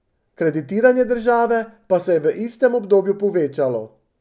Kreditiranje države pa se je v istem obdobju povečalo.